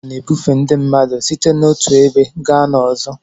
Ụgbọ ala na-ebufe ndị mmadụ site n'otu ebe gaa n'ọzọ